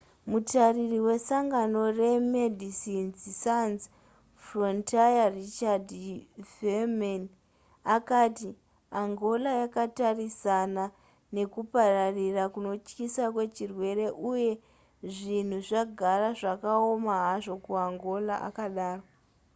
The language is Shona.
mutariri wesangano remedecines sans frontiere richard veerman akati angola yakatarisana nekupararira kunotyisa kwechirwere uye zvinhu zvagara zvakaoma hazvo kuangola akadaro